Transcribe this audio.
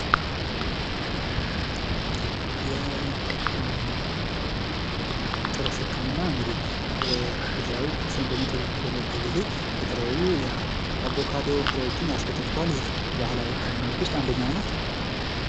የጥርስ ህክምና እንግዲህ የተለያዩ ጥርስን በሚጠዘጥዘን ጊዜ የተለያዩ የአቮካዶ ፍሬዎችን ያስበሉሃል። ይህ እንግዲህ ከባህላዊ ህክምናዎች ውስጥ አንደኛው ነው።